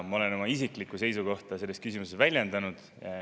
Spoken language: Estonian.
Ma olen oma isiklikku seisukohta selles küsimuses väljendanud.